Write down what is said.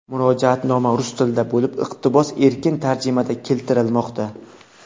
Murojaatnoma rus tilida bo‘lib, iqtibos erkin tarjimada keltirilmoqda.